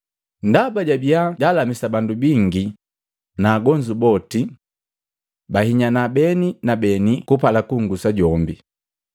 Ndaba jabia jalamisi bandu bingi, na agonzu bote bahinyana beni na beni kupala kungusa jombe.